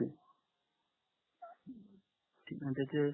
ठीक आहे न त्याचे